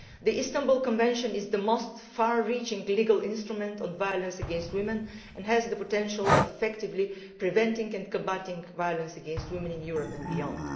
The Istanbul Convention is the most far reaching legal instrument on violence against women and has the potential to effectively prevent and combat violence against women in Europe and beyond.